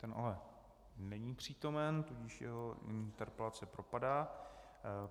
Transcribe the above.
Ten ale není přítomen, tudíž jeho interpelace propadá.